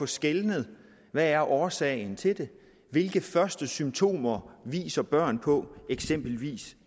skelne hvad er årsagen til det hvilke første symptomer viser børn på eksempelvis